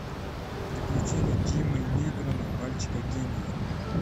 приключения джимми нейтрона мальчика гения